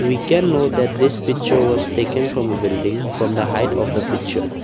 we can know that this picture was taken from a building from the height of the picture.